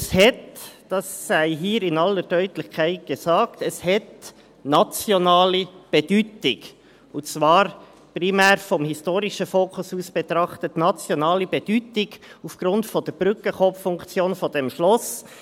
Es hat, das sei hier in aller Deutlichkeit gesagt, eine nationale Bedeutung, und zwar primär vom historischen Fokus aus betrachtet – nationale Bedeutung aufgrund der Brückenkopffunktion dieses Schlosses.